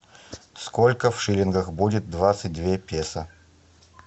сколько в шиллингах будет двадцать две песо